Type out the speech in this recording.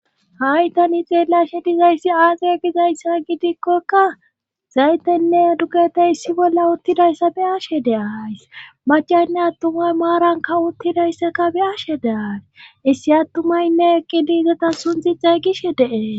hay tani xeelashe dizayssi aaziya gizayssa gidikkokka zaytenne dugete issi bolla uttidayssa be ashe deays macanne attumay maaranka uttidayssaka be ashe deaare issi attumaynne eqqi diizata sunthi xeygishe dee.